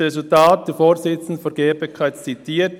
Das Resultat: Die Spitäler leben heute vom Ersparten;